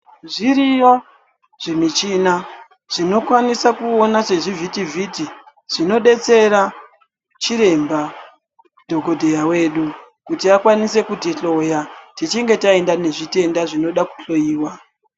Zviriyo zvimichina zvinokwanisa kuona sezvivhiti-vhiti zvinobetsera chiremba dhokodheya wedu kuti akwanise kutihloya tichitenge taenda nezvitenda zvinoda kuhloyiwa.